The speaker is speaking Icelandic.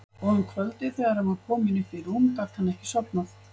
Og um kvöldið þegar hann var kominn upp í rúm gat hann ekki sofnað.